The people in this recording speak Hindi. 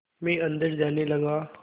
मैं अंदर जाने लगा